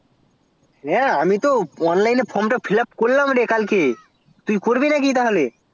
হ্যা আমি তো online এ from টা fill up করলাম কালকে তুই করবি নাকি তাহলে